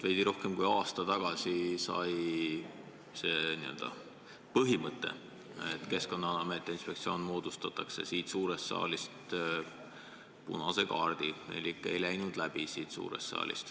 Veidi rohkem kui aasta tagasi sai see mõte, et Keskkonnaamet ja Keskkonnainspektsioon ühendatakse, siin suures saalis punase kaardi elik ei läinud läbi.